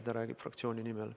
Ta räägib fraktsiooni nimel.